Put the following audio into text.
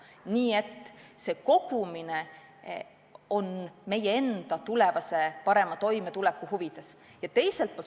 Nii et see kogumine on meie enda tulevase parema toimetuleku huvides.